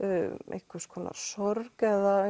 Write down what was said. einhvers konar sorg eða